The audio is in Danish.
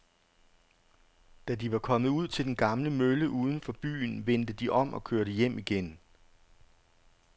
Da de var kommet ud til den gamle mølle uden for byen, vendte de om og kørte hjem igen.